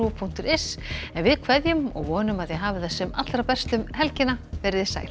punktur is en við kveðjum og vonum að þið hafið sem allra best um helgina veriði sæl